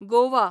Goa